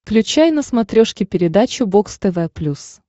включай на смотрешке передачу бокс тв плюс